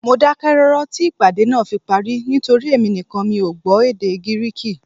Mo dákẹ́ rọ́rọ́ tí ìpàdé náà fi parí nítorí èmi nìkan mi ò gbọ́ èdè Gíríìkì